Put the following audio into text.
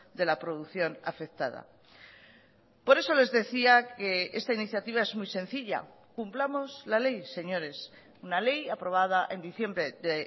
de la producción afectada por eso les decía que esta iniciativa es muy sencilla cumplamos la ley señores una ley aprobada en diciembre de